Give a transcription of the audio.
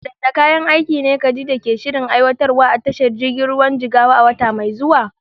Waɗanne kayan aiki ne Khadija ke shirin aiwatarwa a tashar jirgin ruwan Jigawa a wata mai zuwa?